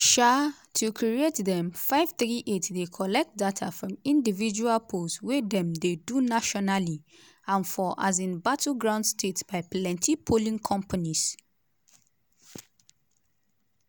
um to create dem 538 dey collect data from individual polls wey dem dey do nationally and for um battleground states by plenti polling companies.